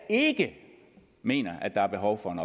ikke mener at der er behov for en